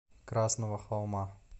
красного холма